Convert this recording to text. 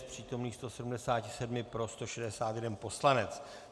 Z přítomných 177 pro 161 poslanec.